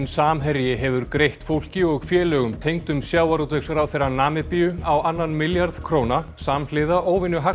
Samherji hefur greitt fólki og félögum tengdum sjávarútvegsráðherra Namibíu á annan milljarð króna samhliða